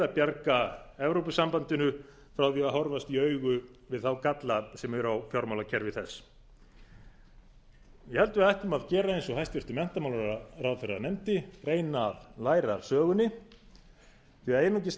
bjarga evrópusambandinu frá því að horfast í augu við þá galla sem eru í fjármálakerfi þess ég held að við ættum að gera eins og hæstvirtur menntamálaráðherra nefndi að reyna að læra af sögunni því einungis